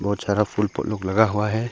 बहुत सारा फुल लगा हुआ है।